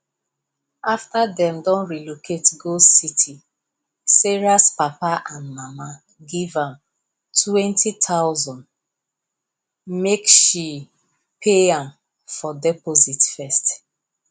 after them don relocate go city sarahs papa and mama give am 20000 make she pay am for deposit first